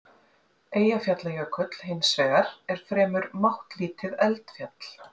Eyjafjallajökull, hins vegar, er fremur máttlítið eldfjall.